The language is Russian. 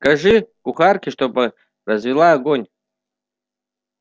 скажи кухарке чтобы развела огонь